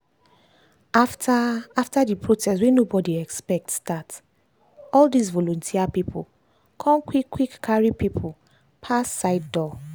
after after the protest wey nobody expect start all this volunteer people con quick quick carry people pass side door.